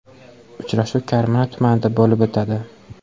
Uchrashuv Karmana tumanida bo‘lib o‘tadi.